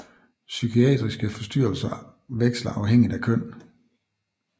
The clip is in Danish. Psykiatriske forstyrrelser veksler afhængigt af køn